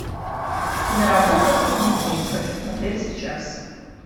киноработа судный день хочу смотреть сейчас